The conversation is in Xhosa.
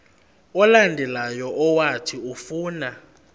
olandelayo owathi ufuna